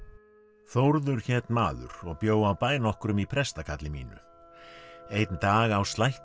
Þórður hét maður og bjó á bæ nokkrum í prestakalli mínu einn dag á slætti